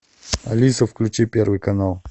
алиса включи первый канал